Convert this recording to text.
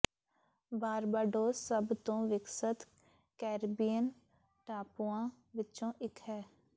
Barbados ਸਭ ਤੋਂ ਵਿਕਸਤ ਕੈਰੀਬੀਅਨ ਟਾਪੂਆਂ ਵਿੱਚੋਂ ਇੱਕ ਹੈ